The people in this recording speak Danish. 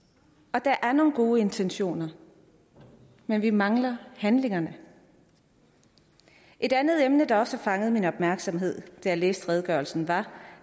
og der er nogle gode intentioner men vi mangler handlingerne et andet emne der også har fanget min opmærksomhed da jeg læste redegørelsen var